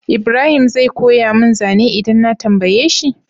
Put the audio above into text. Ibrahim zai koya mun zane idan na tambaye shi?